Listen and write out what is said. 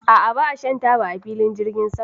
A'a, ba a shan taba a filin jirgin sama.